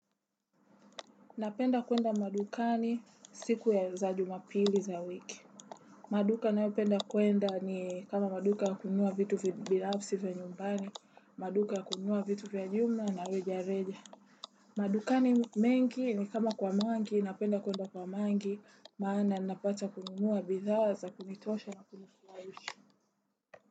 Napenda kwenda madukani siku ya za jumapili za wiki. Maduka nao penda kwenda ni kama maduka yakununua vitu vibinafsi vya nyumbani, maduka yakununua vitu vya jumla na reja reja. Madukani mengi ni kama kwa mangi napenda kwenda kwa mangi maana napata kununua bidhaa za kunitosha na kumufla.